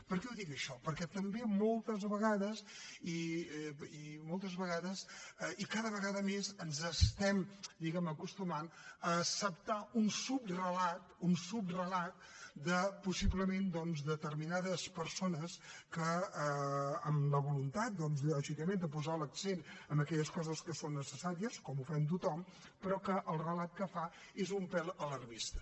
per què ho dic això perquè també moltes vegades i cada vegada més ens estem diguem ne acostumant a acceptar un subrelat un subrelat possiblement doncs de determinades persones amb la voluntat lògicament de posar l’accent en aquelles coses que són necessàries com ho fem tothom però que el relat que fa és un pèl alarmista